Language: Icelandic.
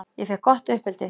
Ég fékk gott uppeldi.